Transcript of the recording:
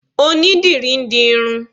Onídìrí ń di irun